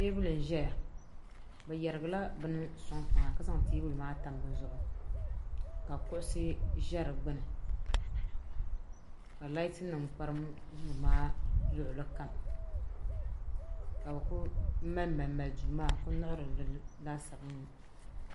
tɛbuli n ʒɛya be yɛrigila bɛn soŋ tiŋa ka zaŋ tɛbuli maa tami di zuɣ' ka kuɣisi ʒɛ di gbani ka laati nim kparim luɣili kam ka bɛ kuli malimali do maa n kuli nɛɣim li laasabu n ŋɔ